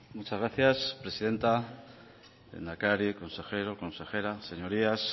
muchas gracias presidenta lehendakari consejero consejera señorías